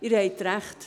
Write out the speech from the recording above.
Sie haben recht.